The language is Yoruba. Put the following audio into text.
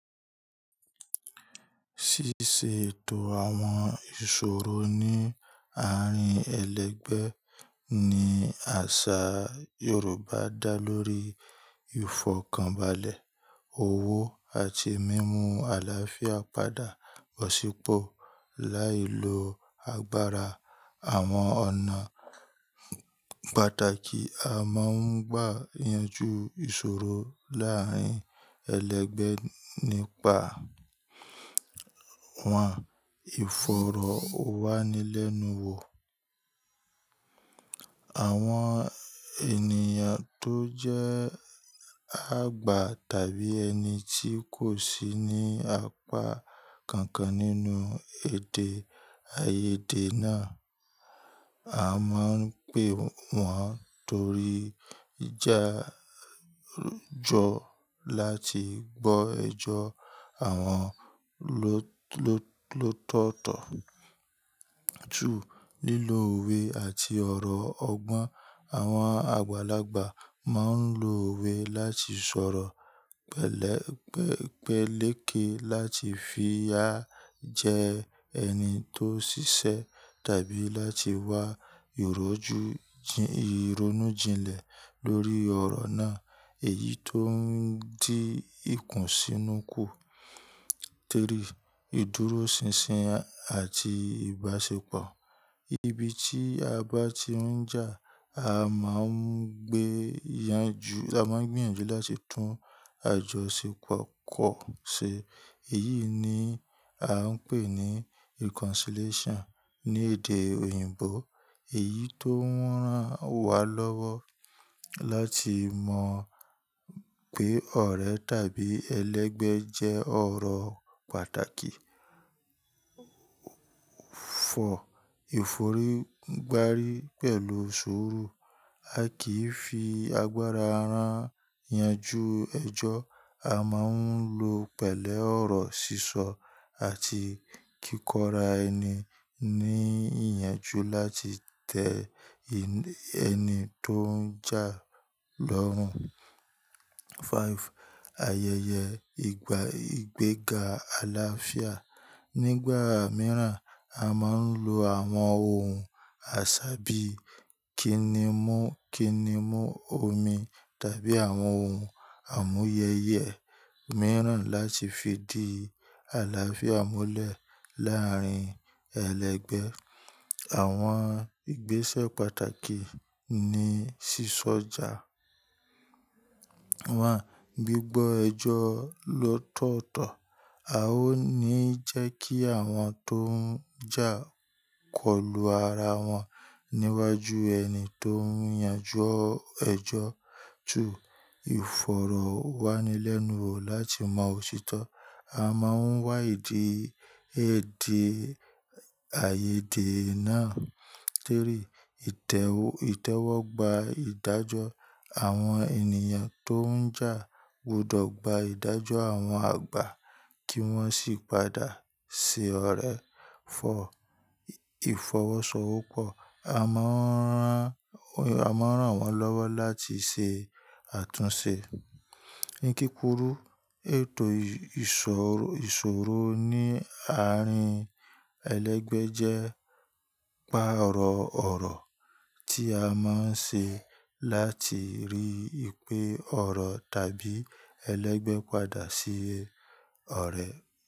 Ṣíṣe ètò àwọn ìṣòro ní àárín ẹlẹgbẹ́ ni àṣà Yorùbá dá lórí. Ífọ̀kànbalẹ̀, owó àti mímú àlàáfíà padà bọ̀ sípọ̀. Lái lo agbára àwọn ọ̀nà pàtàkì, a máa ń gbà yanjú ìṣòro láàárín ẹlẹgbẹ́ nípa, wọn. Ìfọ̀rọ̀wánilẹ́nuwò. Àwọn ènìyàn tó jẹ́ àgbà tàbí ẹni tí kò sí ní apá kankan nínú èdè, ààyèdè náà. A máa ń pè wọn torí ìjà jọ láti gbọ́ ẹjọ́ àwọn ló, ló, ló tọ̀tọ̀. Lílo òwe àti ọ̀rọ̀ ọgbọ́n. Àwọn àgbàlagbà máa ń lo òwe láti sọ̀rọ̀ pẹ̀lẹ́, pẹ̀, pẹ̀lẹ́ké láti fi á jẹ ẹni tó ṣiṣẹ́ tàbí láti wá ìrójú, jìn, ìronújinlẹ̀ lórí ọ̀rọ̀ náà èyí tó ń dí ìkùnsínukú. Ìdúróṣinṣin àti ìbáṣepọ̀. Ibi tí a bá ti ń jà, a máa ń gbé yanjú, a máa ń gbé yanjú láti tún àjọṣepọ̀ kọ̀ ṣe. Èyí ni a ń pè ní reconciliation ní èdè òyìnbó. Èyí tó rán wa lọ́wọ́ láti mọ pé ọ̀rẹ́ tàbí ẹlẹgbẹ́ jẹ́ ọ̀rọ̀ pàtàkì. Ìfọ̀rígbárí pẹ̀lú suru. A kì í fi agbára rán yanjú ẹjọ́. A máa ń lo pẹ̀lẹ́ ọ̀rọ̀ sísọ àti kíkorá ẹni ní ìyanjú láti tẹ ẹni tó ń jà lọ́rùn. Ayẹyẹ ìgbéga àlàáfíà. Nígbà mìíràn, a máa ń lo àwọn ohun àṣà bí i kíni mú, kíni mú omi tàbí àwọn ohun àmúyẹyẹ mìíràn láti fi di àlàáfíà múlẹ̀ láàárín ẹlẹgbẹ́. Àwọn ìgbésẹ̀ pàtàkì ni sísọ̀já. Gbígbọ́ ẹjọ́ ló tọ̀tọ̀. A ó ní jẹ́ kí àwọn tó ń jà kọlù ara wọn níwájú ẹni tó ń yanjú ẹjọ́. Ìfọ̀rọ̀wánilẹ́nuwò láti mọ òṣìtọ́. A máa ń wá ìdí, èdè, ààyèdè náà. Ìtẹ́wọ́, ìtẹ́wọ́ gba ìdájọ́. Àwọn ènìyàn tó ń jà gbọdọ̀ gba ìdájọ́ àwọn àgbà kí wọ́n sì padà sí ọ̀rẹ́. Ìfọwọ́sowọ́pọ̀. A máa ń rán, a máa ń rán wọ́n lọ́wọ́ láti ṣe àtúnṣe. Ní kíkúrú, ètò ìsọ̀, ìṣòro ní àárín ẹlẹgbẹ́ jẹ́ pàrọ̀ ọ̀rọ̀ tí a máa ń ṣe láti rí pé ọ̀rọ̀ tàbí ẹlẹgbẹ́ padà sí ọ̀rẹ́.